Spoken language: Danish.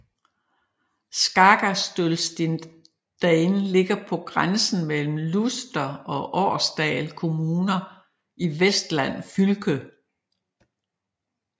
Skagastølstindane ligger på grænsen mellem Luster og Årdal kommuner i Vestland fylke